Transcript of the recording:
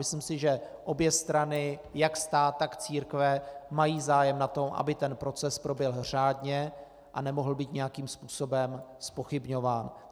Myslím si, že obě strany, jak stát, tak církve, mají zájem na tom, aby ten proces proběhl řádně a nemohl být nějakým způsobem zpochybňován.